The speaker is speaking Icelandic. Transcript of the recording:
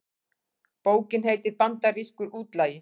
Bókin heitir Bandarískur útlagi